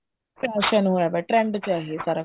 fashion ਹੋਇਆ ਪਿਆ trend ਚ ਹੈ ਇਹ ਸਾਰਾ